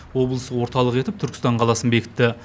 облыс орталығы етіп түркістан қаласын бекітті